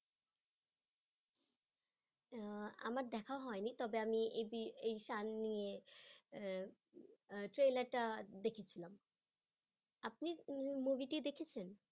আহ আমার দেখা হয়নি তবে আমি এই শান নিয়ে আহ trailer টা দেখেছিলাম আপনি movie টি দেখেছেন?